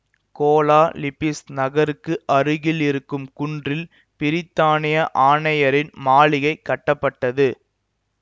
Cola Lipis நகருக்கு அருகில் இருக்கும் குன்றில் பிரித்தானிய ஆணையரின் மாளிகை கட்டப்பட்டது